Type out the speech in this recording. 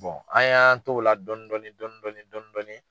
an y'an t'o la dɔni dɔni dɔni dɔni dɔn dɔni.